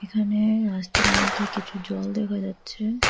এখানে রাস্তার মধ্যে কিছু জল দেখা যাচ্ছে।